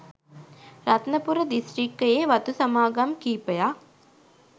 රත්නපුර දිස්ත්‍රික්කයේ වතු සමාගම් කිහිපයක්